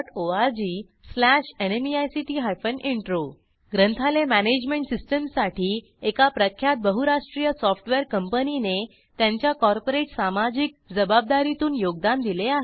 httpspoken tutorialorgNMEICT intro ग्रंथालय management सिस्टीमसाठी एका प्रख्यात बहुराष्ट्रीय सॉफ्टवेअर कंपनीने त्यांच्या कॉर्पोरेट सामाजिक जबाबदारीतून योगदान दिले आहे